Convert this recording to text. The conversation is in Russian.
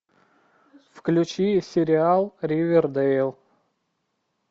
включи сериал ривердэйл